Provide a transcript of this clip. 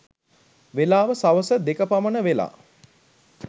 වෙලාව සවස දෙක පමණ වෙලා.